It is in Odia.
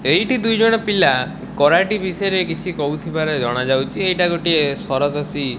ଏଇଠି ଦୁଇ ଜଣ ପିଲା କରାଟି ବିଷୟରେ କିଛି କହୁଥିବାର ଜଣାଯାଉଛି ଏଟା ଗୋଟେ ସରଦୋଷୀ --